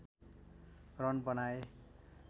run बनाए